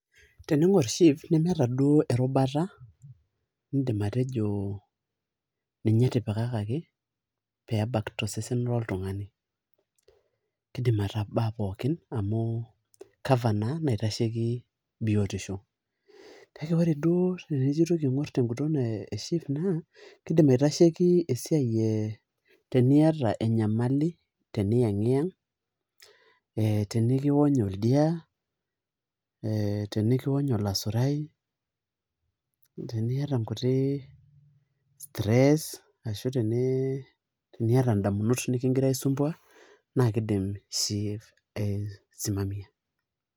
Teniingorr SHIF nemeeta duo erubata niindim atejo ninye etipikakaki pee ebak rosesn loltung'ani kiidim atabaa pookin amu cover naa naitashoiki biotisho, kake ore duo tenijo aitoki aing'orr teguton ee SHIF naa kiidim aitasheiki esiai ee tiniata enyamali teniyang'iyang ee tenikiwony oldia ee tenikiwony olasurai teniata nkuti stress ashu teniata indamunot nikigira aisumbuaa naa kiidim SHIF aisimamia.